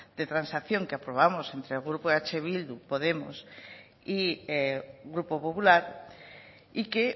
de transacción que aprobamos entre el grupo eh bildu y podemos y grupo popular y que